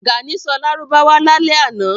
Gàní sọ Lárúbáwá lálẹ́ ànọ́